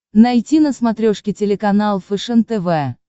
найти на смотрешке телеканал фэшен тв